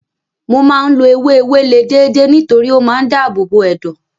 Mo máa ń lo ewé ewéle déédéé nítorí ó máa ń dáàbò bo ẹ̀dọ̀.